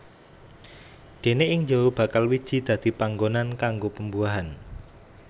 Déné ing jero bakal wiji dadi panggonan kanggo pembuahan